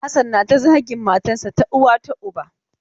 Hassan nata zagin matan sa ta uwa ta uba.